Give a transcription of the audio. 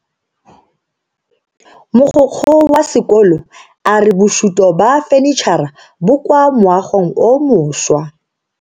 Mogokgo wa sekolo a re bosuto ba fanitšhara bo kwa moagong o mošwa.